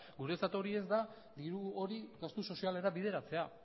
guretzat hori ez da diru hori gastu sozialera bideratzea